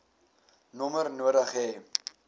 nommer nodig hê